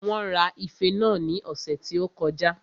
Wón ra ife náà ní ọ̀sẹ̀ tí ó kọjá